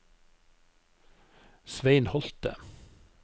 Svein Holte